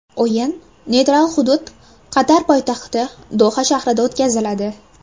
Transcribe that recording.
O‘yin neytral hudud Qatar poytaxti Doha shahrida o‘tkaziladi.